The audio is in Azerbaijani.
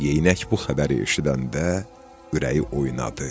Yeynək bu xəbəri eşidəndə ürəyi oynadı.